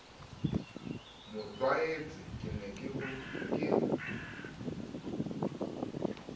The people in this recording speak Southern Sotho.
mo tlwaetse ke ne ke